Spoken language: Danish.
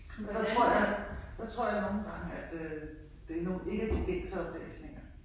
Der tror jeg der tror jeg nogle gange at øh det nu ikke er de gængse oplæsninger